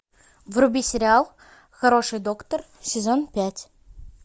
вруби сериал хороший доктор сезон пять